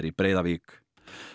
í Breiðavík